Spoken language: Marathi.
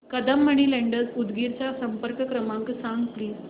कदम मनी लेंडर्स उदगीर चा संपर्क क्रमांक सांग प्लीज